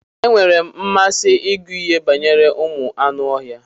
E nwere mmasị ịgụ ihe banyere ụmụ anụ ọhịa.